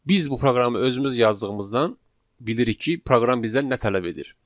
Biz bu proqramı özümüz yazdığımızdan bilirik ki, proqram bizdən nə tələb edir.